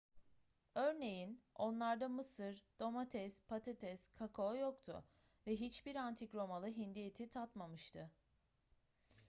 örneğin onlarda mısır domates patates kakao yoktu ve hiçbir antik romalı hindi eti tatmamıştı